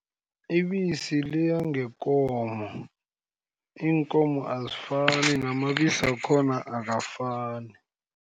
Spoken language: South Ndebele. Ibisi liya ngekomo, iinkomo azifani namabisi wakhona akafani.